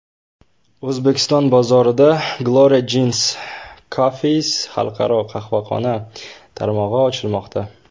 O‘zbekiston bozorida Gloria Jean’s Coffees xalqaro qahvaxona tarmog‘i ochilmoqda.